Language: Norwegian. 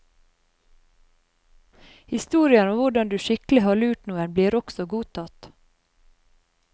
Historier om hvordan du skikkelig har lurt noen, blir også godtatt.